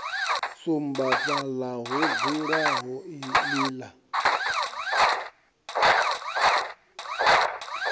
sumba fhaḽa ho dzulaho iḽla